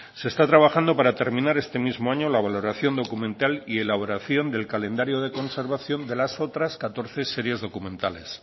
se está trabajando para terminar este mismo año la valoración documental y elaboración del calendario de conservación de las otras catorce series documentales